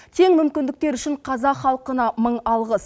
тең мүмкіндіктер үшін қазақ халқына мың алғыс